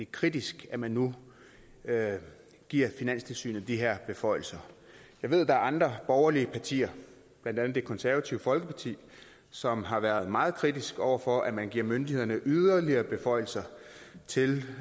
kritisk at man nu giver finanstilsynet de her beføjelser jeg ved der er andre borgerlige partier blandt andet det konservative folkeparti som har været meget kritisk over for at man giver myndighederne yderligere beføjelser til